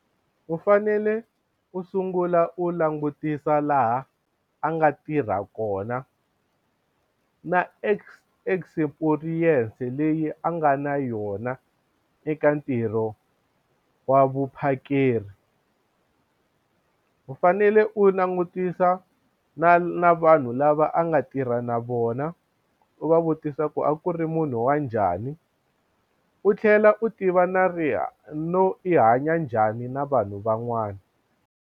U fanele u sungula u langutisa laha a nga tirha kona na experience leyi a nga na yona eka ntirho wa vuphakeri u fanele u langutisa na na vanhu lava a nga tirha na vona u va vutisa ku a ku ri munhu wa njhani u tlhela u tiva na no i hanya njhani na vanhu van'wana.